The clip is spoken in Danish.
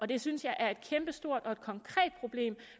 det synes jeg er et kæmpestort og konkret problem